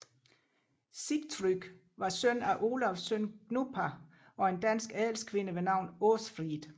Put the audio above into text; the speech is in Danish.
Sigtrygg var søn af Olavs søn Gnupa og en dansk adelskvinde ved navn Åsfrid